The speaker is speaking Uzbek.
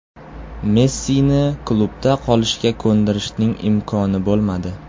Messini klubda qolishga ko‘ndirishning imkoni bo‘lmadi.